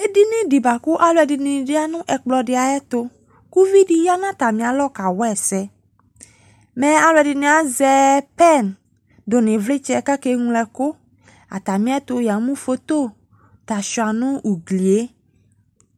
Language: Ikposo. Edini de boako alɔde ne ya no ɛkplɔ de ayeto ko uvi de ya no atane alɔ kawa ɛsɛ Mɛ alɔde ne azɛ pɛn do no evletsɛ kake ñlo ɛkuAtame ɛto ya mu foto ta sua no uglie